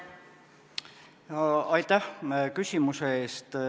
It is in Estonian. Aitäh küsimuse eest!